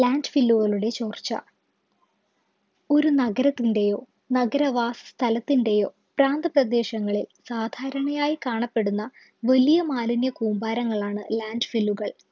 Landfill കളുടെ ചോർച്ച ഒരു നഗരത്തിൻ്റെയോ നഗരവാ സ്ഥലത്തിൻ്റെയോ പ്രാന്ത പ്രദേശങ്ങളിൽ സാധാരണയായി കാണപ്പെടുന്ന വലിയ മാലിന്യ കൂമ്പാരങ്ങളാണ് Landfill ല്ലുകൾ